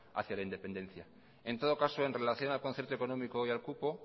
hacia la independencia en todo caso en relación al concierto económico y al cupo